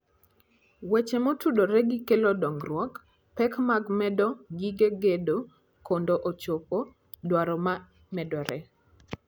Weche Motudore gi Kelo Dongruok: Pek mag medo gige gedo mondo ochop dwaro ma medore.